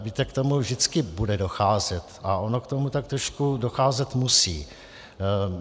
Víte, k tomu vždycky bude docházet a ono k tomu tak trošku docházet musí.